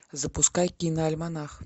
запускай киноальманах